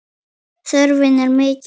Þörfin var mikil.